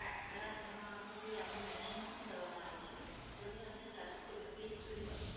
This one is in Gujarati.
મેડમ, એમાં આપને કોઈ આપને Mention નથી કરવામાં આવ્યું છે. તો ભી તમને ચાલીસ KBPSSpeed મળશે.